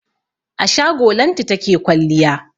A shago Lanti take kwalliya.